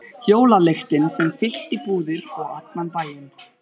Jólalyktin sem fyllti búðir og allan bæinn?